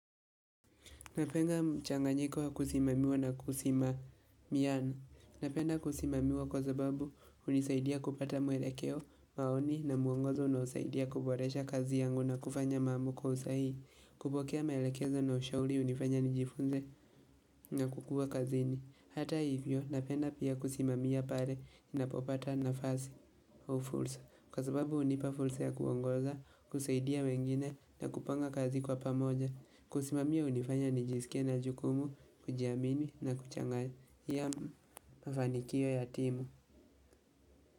Napenda mchanganyiko wa kusimamiwa na kusimamiana. Napenda kusimamiwa kwa sababu hunisaidia kupata mwelekeo, maoni na muongozo unaosaidia kuboresha kazi yangu na kufanya mambo kwa usahihi. Kupokea maelekezo na ushauri hunifanya nijifunze na kukua kazini. Hata hivyo, napenda pia kusimamia pale ninapopata nafasi au fursa. Kwa sababu hunipa fursa ya kuongoza, kusaidia wengine na kupanga kazi kwa pamoja. Kusimamia hunifanya nijisikie na jukumu, kujiamini na kuchangia mafanikio ya timu.